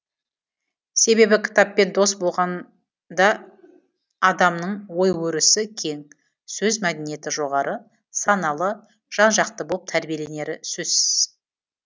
себебі кітаппен дос болғанда адамның ой өрісі кең сөз мәдениеті жоғары саналы жан жақты болып тәрбиеленері сөзсіз